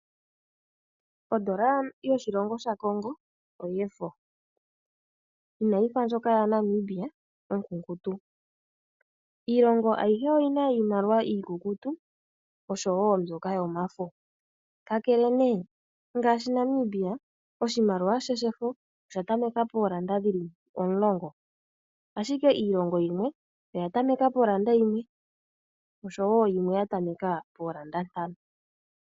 Ondola yoshilongo shaCongo oyefo ina yi fa ndjoka yaNamibia onkunkutu. Iilongo ayihe oyina iimaliwa iikukutu oshowo mbyoka yomafo. Ka kele nee ngaashi Namibia oshimaliwa she shefo osha tameka poolanda omulongo, ashike iilongo yimwe oya tameka polanda yimwe oshowo yimwe ya tameka poolanda ntano.